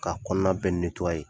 K'a kɔnɔna bɛɛ